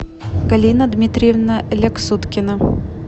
галина дмитриевна ляксуткина